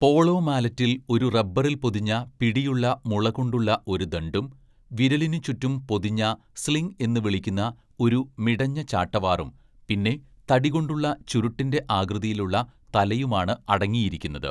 Polo മാലറ്റിൽ ഒരു റബ്ബറിൽ പൊതിഞ്ഞ പിടിയുള്ള മുളകൊണ്ടുള്ള ഒരു ദണ്ഡും, വിരലിനു ചുറ്റും പൊതിഞ്ഞ സ്ലിംഗ് എന്ന്‌ വിളിക്കുന്ന ഒരു മിടഞ്ഞ ചാട്ടവാറും പിന്നെ തടികൊണ്ടുള്ള ചുരുട്ടിന്‍റെ ആകൃതിയിലുള്ള തലയുമാണ് അടങ്ങിയിരിക്കുന്നത്.